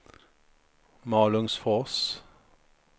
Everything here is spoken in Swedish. Malungsfors